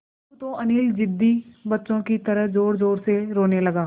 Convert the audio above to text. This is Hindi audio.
अब तो अनिल ज़िद्दी बच्चों की तरह ज़ोरज़ोर से रोने लगा